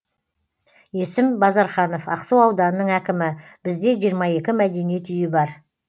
есім базарханов ақсу ауданының әкімі бізде жиырма екі мәдениет үйі бар